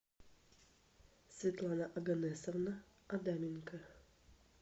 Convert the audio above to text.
светлана оганесовна адаменко